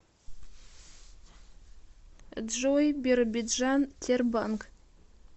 джой биробиджан тербанк